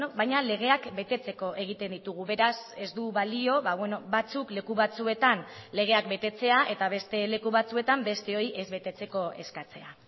baina legeak betetzeko egiten ditugu beraz ez du balio batzuk leku batzuetan legeak betetzea eta beste leku batzuetan besteoi ez betetzeko eskatzea